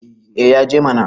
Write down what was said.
eh ya je mana